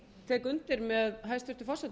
tek undir með hæstvirtum